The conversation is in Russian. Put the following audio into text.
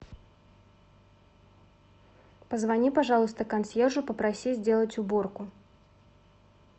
позвони пожалуйста консьержу попроси сделать уборку